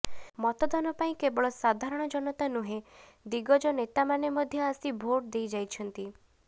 ମତଦାନ ପାଇଁ କେବଳ ସାଧାରଣ ଜନତା ନୁହଁନ୍ତି ଦିଗଜ ନେତାମାନେ ମଧ୍ୟ ଆସି ଭୋଟ ଦେଇ ଯାଇଛନ୍ତି